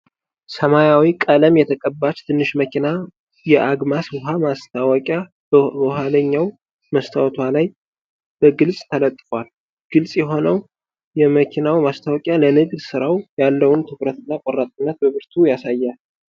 ሰማያዊ ቀለም የተቀባች ትንሽ መኪና የ"አግማስ" ውሃ ማስታወቂያ በኋለኛው መስታወቷ ላይ በግልጽ ተለጥፏል። ግልጽ የሆነው የመኪናው ማስታወቂያ ለንግድ ሥራው ያለውን ትኩረትና ቆራጥነት በብርቱ ያሳያል።